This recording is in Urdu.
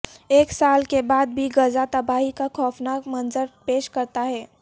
ایک سال کے بعد بھی غزہ تباہی کا خوفناک منظر پیش کرتا ہے